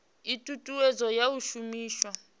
ii thuthuwedzo ya u shumiswa